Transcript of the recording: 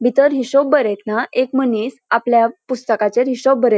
भितर हिशोब बरयतना एक मनिस आपल्या पुस्तकाचेर हिशोब बरे --